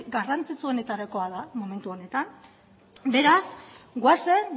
garrantzitsuenetarikoa da momentu honetan beraz goazen